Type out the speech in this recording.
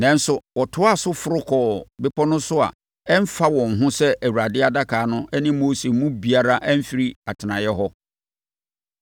Nanso, wɔtoaa so foro kɔɔ bepɔ no so a ɛmfa wɔn ho sɛ Awurade adaka no ne Mose mu biara amfiri atenaeɛ hɔ.